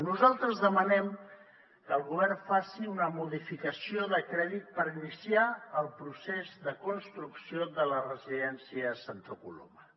nosaltres demanem que el govern faci una modificació de crèdit per iniciar el procés de construcció de la residència a santa coloma